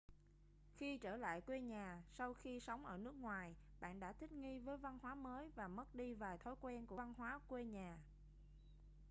khi trở lại quê nhà sau khi sống ở nước ngoài bạn đã thích nghi với văn hóa mới và mất đi vài thói quen của văn hóa quê nhà